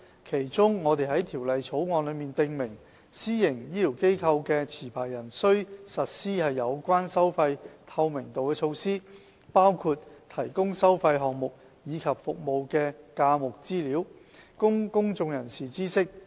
其中，我們在《條例草案》中訂明，私營醫療機構的持牌人須實施有關收費透明度的措施，包括提供收費項目及服務的價目資料，供公眾人士知悉。